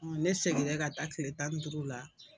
Ne seginna ka taa kile tan ni duuru la.